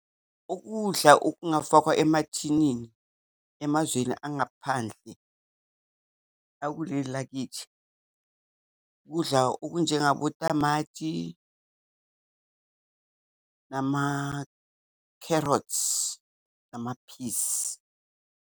Ukudla okungafakwa emathinini emazweni angaphandle akuleli lakithi kudla okunye njengabotamati namakherothi, amaphisi.